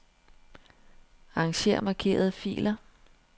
Arranger markerede filer.